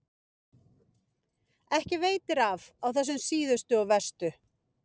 Ekki veitir af á þessum síðustu og verstu.